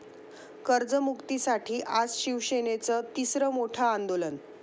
कर्जमुक्तीसाठी आज शिवसेनेचं तिसरं मोठं आंदोलन